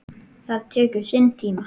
Það tekur sinn tíma.